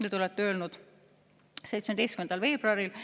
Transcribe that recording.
Nii te olete öelnud 17. veebruaril.